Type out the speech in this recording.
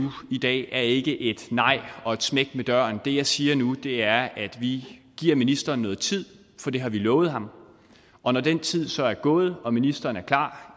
i dag er ikke et nej og et smæk med døren det jeg siger nu er at vi giver ministeren noget tid for det har vi lovet ham og når den tid så er gået og ministeren er klar